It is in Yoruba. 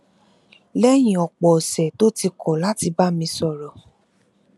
léyìn òpò òsè tó ti kọ láti bá mi sọrọ